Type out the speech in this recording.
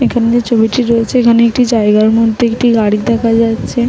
এখানে ছবিটি রয়েছে এখানে একটি জায়গার মধ্যে একটি গাড়ি দেখা যাচ্ছে--